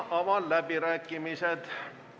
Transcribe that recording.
Avan läbirääkimised.